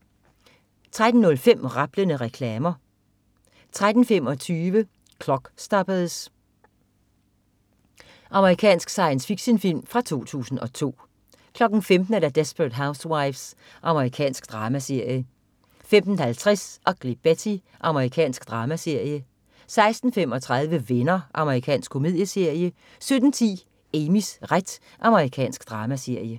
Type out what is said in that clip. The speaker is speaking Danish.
13.05 Rablende reklamer 13.25 Clockstoppers. Amerikansk science fiction-film fra 2002 15.00 Desperate Housewives. Amerikansk dramaserie 15.50 Ugly Betty. Amerikansk dramaserie 16.35 Venner. Amerikansk komedieserie 17.10 Amys ret. Amerikansk dramaserie